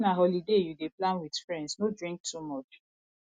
if na holiday you dey plan with friends no drink too much